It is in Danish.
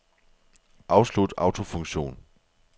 Afslut autofunktion.